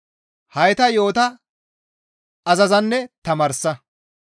Hayta yo7ota azazanne tamaarsa.